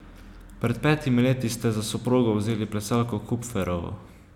Pred petimi leti ste za soprogo vzeli plesalko Kupferovo.